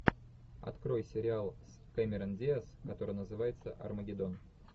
открой сериал с кэмерон диас который называется армагеддон